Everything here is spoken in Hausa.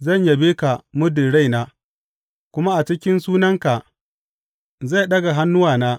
Zan yabe ka muddin raina, kuma a cikin sunanka zai ɗaga hannuwana.